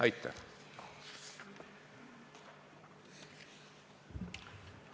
Aitäh!